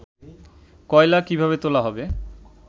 কয়লা কিভাবে তোলা হবে